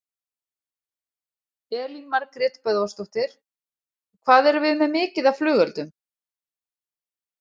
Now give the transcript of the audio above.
Elín Margrét Böðvarsdóttir: Hvað erum við með mikið af af flugeldum?